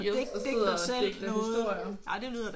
Og sidder og digter historier